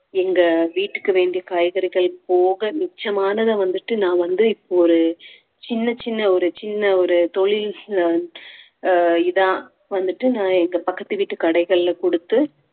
எங்க வீட்டுக்கு வேண்டிய காய்கறிகள் போக மிச்சமானதை வந்துட்டு நான் வந்து இப்போ ஒரு சின்னச் சின்ன ஒரு சின்ன ஒரு தொழில் ஆஹ் இதா வந்துட்டு நான் எங்க பக்கத்து வீட்டு கடைகள்ல குடுத்து